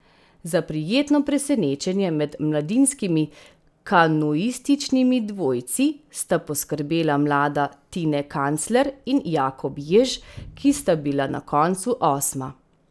Za prijetno presenečenje med mladinskimi kanuističnimi dvojci sta poskrbela mlada Tine Kancler in Jakob Jež, ki sta bila na koncu osma.